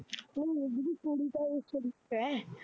ਨਹੀਂ ਉੰਞ ਵੀ ਕੁੜੀ ਤਾਂ ਇਹ ਸਰੀਫ਼ ਹੈ।